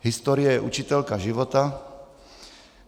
Historie je učitelka život.